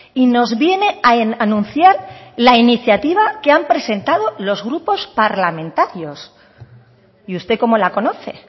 y nos viene a anunciar la iniciativa que han presentado los grupos parlamentarios y usted cómo la conoce